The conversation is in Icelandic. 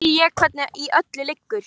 Nú skil ég hvernig í öllu liggur.